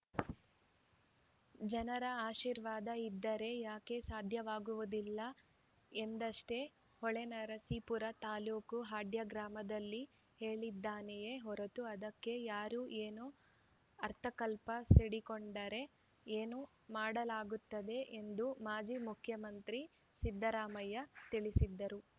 ಜನರ ಆಶೀರ್ವಾದ ಇದ್ದರೆ ಯಾಕೆ ಸಾಧ್ಯವಾಗುವುದಿಲ್ಲ ಎಂದಷ್ಟೇ ಹೊಳೆನರಸೀಪುರ ತಾಲೂಕು ಹಾಡ್ಯ ಗ್ರಾಮದಲ್ಲಿ ಹೇಳಿದ್ದೇನೆಯೇ ಹೊರತು ಅದಕ್ಕೆ ಯಾರು ಏನೋ ಅರ್ಥಕಲ್ಪಿ ಸಿಡಿ ಗೂಂಡರೆ ಏನು ಮಾಡಲಾಗುತ್ತದೆ ಎಂದು ಮಾಜಿ ಮುಖ್ಯಮಂತ್ರಿ ಸಿದ್ದರಾಮಯ್ಯ ತಿಳಿಸಿದರು